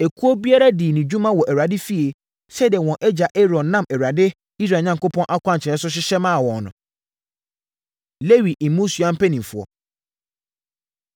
Ekuo biara dii ne dwuma wɔ Awurade fie sɛdeɛ wɔn agya Aaron nam Awurade, Israel Onyankopɔn akwankyerɛ so hyehyɛ maa wɔn no. Lewi Mmusua Mpanimfoɔ